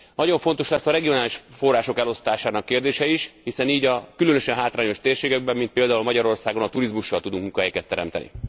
Nagyon fontos lesz a regionális források elosztásának kérdése is, hiszen így a különösen hátrányos térségekben, mint például Magyarországon a turizmussal tudunk munkahelyeket teremteni.